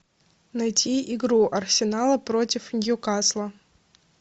найти игру арсенала против ньюкасла